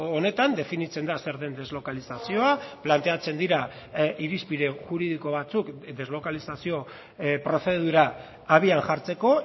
honetan definitzen da zer den deslokalizazioa planteatzen dira irizpide juridiko batzuk deslokalizazio prozedura habian jartzeko